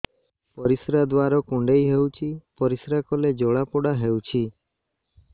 ପରିଶ୍ରା ଦ୍ୱାର କୁଣ୍ଡେଇ ହେଉଚି ପରିଶ୍ରା କଲେ ଜଳାପୋଡା ହେଉଛି